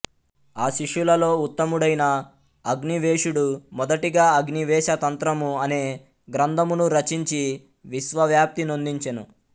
ఆ శిష్యులలో ఉత్తముడైన అగ్నివేశుడు మొదటిగా అగ్నివేశ తంత్రము అనే గ్రంథమును రచించి విశ్వవ్యాప్తినొందించెను